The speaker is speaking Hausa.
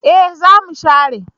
Eh za mu share